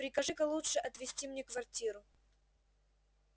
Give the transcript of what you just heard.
прикажи-ка лучше отвести мне квартиру